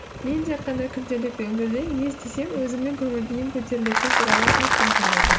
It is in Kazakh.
мен тек қана күнделікті өмірде не істесем өзімнің көңіл күйім көтерілетіні туралы айтқым келеді